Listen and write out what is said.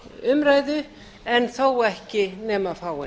umræðu en þó ekki nema fáein